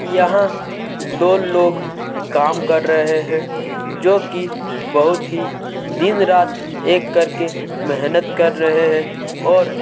यहां दो लोग काम कर रहे हैं जो की बहुत ही दिन रात एक रात एक करके मेहनत कर रहे हैं और --